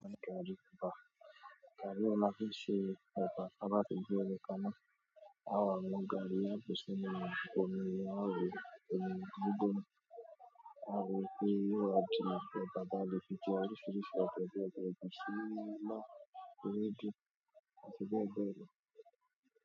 Se ọkà táa bá ti gbé omi ka ná, á á wá mú gaàrí á á bù ú sínú omi inú arò, omi gbígbóná, á á rò ó ń pé á o wá táa bá le fi jẹ oríṣiríṣi ọbẹ̀ bí i ilá, ewédú, àti bẹ́ẹ̀bẹ́ẹ̀ lọ.